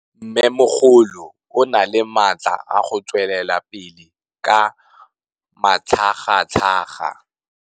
Mmêmogolo o na le matla a go tswelela pele ka matlhagatlhaga.